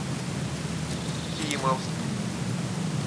кимовск